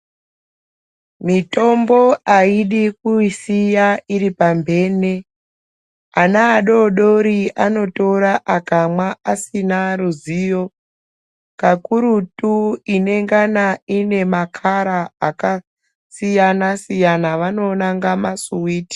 Mitombo aidi kuisiya iri pambene ana adodori anotora akamwa asina ruzivo kakurutu inongana ine makara akasiyana siyana vanonanga masiwiti.